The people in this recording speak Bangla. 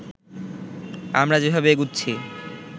আমরা যেভাবে এগুচ্ছি